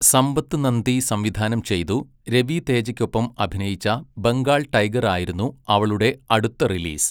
സമ്പത്ത് നൻദി സംവിധാനം ചെയ്തു രവി തേജയ്ക്കൊപ്പം അഭിനയിച്ച ബംഗാൾ ടൈഗർ ആയിരുന്നു അവളുടെ അടുത്ത റിലീസ്.